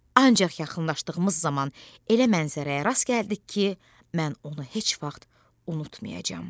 Ancaq yaxınlaşdığımız zaman elə mənzərəyə rast gəldik ki, mən onu heç vaxt unutmayacağam.